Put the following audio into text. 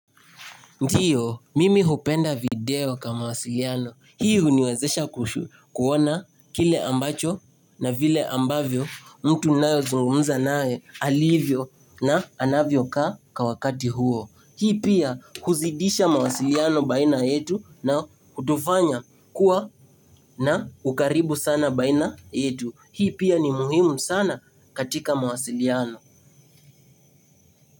Ndiyo, mimi hupenda video kama wasiliano. Hii huniwezesha kuona kile ambacho na vile ambavyo mtu nao zungumza nae alivyo na anavyo ka kawakati huo. Hii pia huzidisha mawasiliano baina yetu na kutufanya kuwa na ukaribu sana baina yetu. Hii pia ni muhimu sana katika wasiliano.